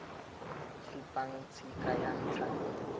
supang tshika ya ntlha le